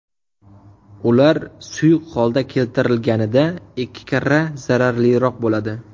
Ular suyuq holga keltirilganida ikki karra zararliroq bo‘ladi.